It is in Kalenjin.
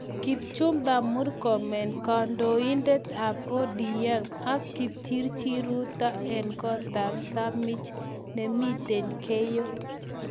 Kipchumba Murkomen kandoindet ab ODM ak Kipchirchir Ruto eng kot ab Samich nimitei Keiyo